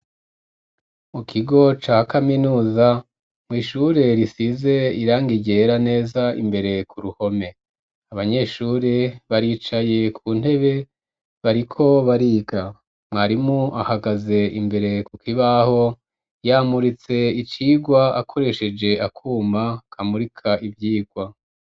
Mu kigo ca kaminuza, mw'ishure risize irangi ryera neza imbere ku ruhome, abanyeshuri baricaye ku ntebe, bariko bariga, mwarimu ahagaze imbere kukibaho, yamuritse icigwa akoresheje akuma kamurika ivyigwa.